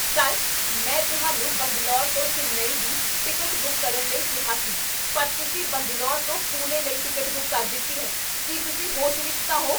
Sir! ਮੈਂ ਤੁਹਾਨੂੰ ਬੰਗਲੌਰ ਤੋਂ ਚੇਨੱਈ ਲਈ ਟਿਕਟ ਬੁੱਕ ਕਰਨ ਲਈ ਕਿਹਾ ਸੀ ਪਰ ਤੁਸੀਂ ਬੰਗਲੌਰ ਤੋਂ ਪੂਨੇ ਲਈ ਟਿਕਟ ਬੁੱਕ ਕਰ ਦਿੱਤੀ ਹੈ। ਕੀ ਤੁਸੀਂ ਹੋਸ਼ ਵਿੱਚ ਤਾਂ ਹੋ?